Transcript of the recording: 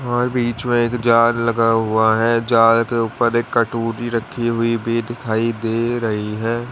और भी जो एक जार लगा हुआ है जार के ऊपर एक कटोरी रखी हुई भी दिखाई दे रही है।